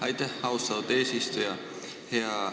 Aitäh, austatud eesistuja!